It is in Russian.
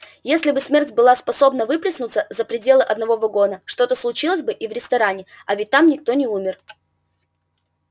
если бы смерть была способна выплеснуться за пределы одного вагона что-то случилось бы и в ресторане а ведь там никто не умер